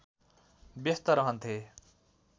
व्यस्त रहन्थे